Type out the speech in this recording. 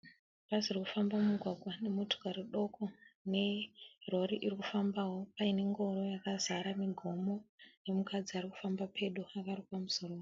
Bhazi ririkufamba mumugwagwa nemotokari duku. Nerori irikufambawo paine ngoro yakazara migomo, nemukadzi arikufamba pedo akarukwa musoro.